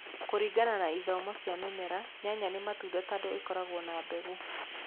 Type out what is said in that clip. Kũringana na ithomo cia mĩmera, nyanya nĩ matunda tondũ nĩ ikoragwo na mbeũ.